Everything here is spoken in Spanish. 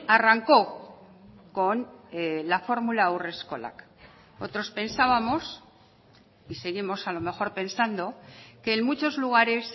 arrancó con la fórmula haurreskolak otros pensábamos y seguimos a lo mejor pensando que en muchos lugares